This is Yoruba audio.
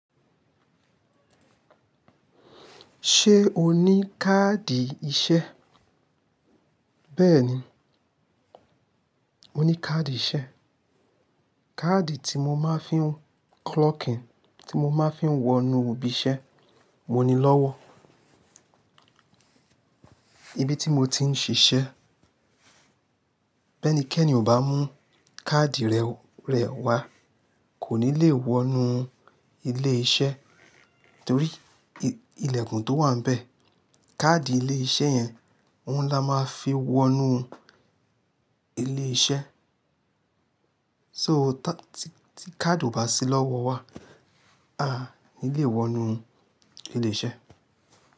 Ṣé o ní káàdì iṣẹ́? Bẹ́ẹ̀ni, mo ní káàdì iṣẹ́. Káàdì tí mo máa ń fi ń clock in, tí mo máa ń fi wọ inú ibi iṣẹ́. Mo ní lọ́wọ́. Ibi tí mo ti ń ṣiṣẹ́, bẹ́ẹ̀ni kí ẹ̀ni kò bá mú káàdì rẹ̀ wá kò ní lè wọ inú ilé iṣẹ́ torí ilẹ̀kùn tó wà bẹ́ẹ̀. Káàdì ilé iṣẹ́ yẹn, òun ni a máa fi ń wọ inú ilé iṣẹ́. So tí káàdì ò bá sí lọ́wọ́ wa, a ò ní lè wọ inú ilé iṣẹ́